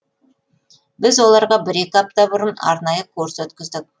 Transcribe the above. біз оларға бір екі апта бұрын арнайы курс өткіздік